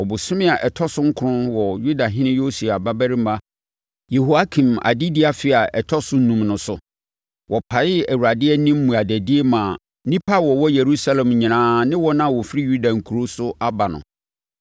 Ɔbosome a ɛtɔ so nkron wɔ Yudahene Yosia babarima Yehoiakim adedie afe a ɛtɔ so enum so no, wɔpaee Awurade anim mmuadadie maa nnipa a wɔwɔ Yerusalem nyinaa ne wɔn a wɔfiri Yuda nkuro so aba no.